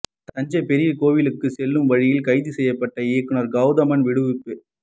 தஞ்சை பெரிய கோவிலுக்கு செல்லும் வழியில் கைது செய்யப்பட்ட இயக்குனர் கவுதமன் விடுவிப்பு